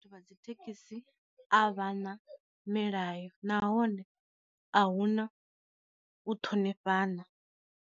Vha dzi thekhisi a vhana milayo nahone a huna u ṱhonifhana.